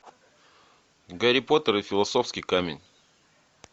гарри поттер и философский камень